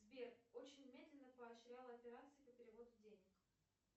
сбер очень медленно поощрял операцию по переводу денег